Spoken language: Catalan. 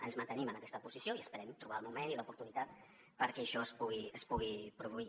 ens mantenim en aquesta posició i esperem trobar el moment i l’oportunitat perquè això es pugui produir